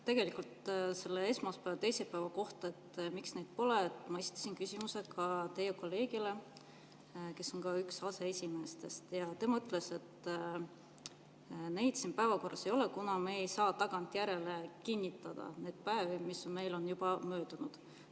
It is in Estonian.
Tegelikult selle esmaspäeva ja teisipäeva kohta, et miks neid pole, ma esitasin küsimuse ka teie kolleegile, kes on üks aseesimeestest, ja ta ütles, et neid siin päevakorras ei ole, kuna me ei saa tagantjärele kinnitada neid päevi, mis meil on juba möödunud.